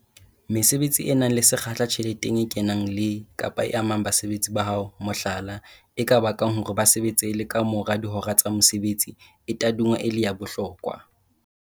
Mesebetsi e nang le sekgahla tjheleteng e kenang le, kapa e amang basebetsi ba hao, mohlala, e ka bakang hore ba sebetse le ka mora dihora tsa mosebetsi, e tadingwa e le ya bohlokwa.